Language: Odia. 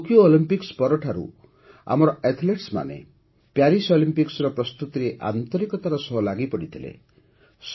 ଟୋକିଓ ଅଲିମ୍ପିକ୍ସ ପରଠାରୁ ହିଁ ଆମର ଆଥଲେଟ୍ମାନେ ପ୍ୟାରିସ୍ ଅଲିମ୍ପିକ୍ସର ପ୍ରସ୍ତୁତିରେ ଆନ୍ତରିକତାର ସହ ଲାଗିପଡ଼ିଥିଲେ